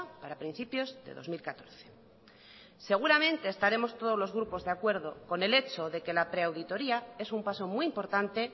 para principios de dos mil catorce seguramente estaremos todos los grupos de acuerdo con el hecho de que la pre auditoría es un paso muy importante